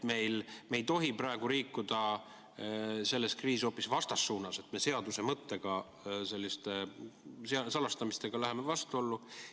Me ei tohi praegu liikuda selles kriisis hoopis vastassuunas, et me seaduse mõttega selliste salastamistega läheme vastuollu.